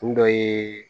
Kun dɔ ye